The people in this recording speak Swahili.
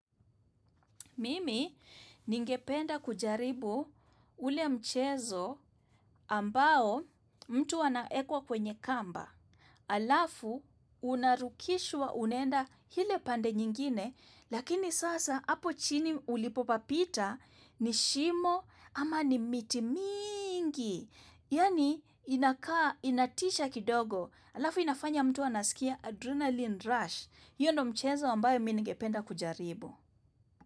Mimi ningependa kujaribu ule mchezo ambao mtu anaekwa kwenye kamba alafu unarukishwa unaenda ile pande nyingine lakini sasa hapo chini ulipopapita ni shimo ama ni miti mingi. Yaani inakaa inatisha kidogo alafu inafanya mtu anasikia adrenalin rush. Hiyo ndo mchezo ambayo mi nigependa kujaribu.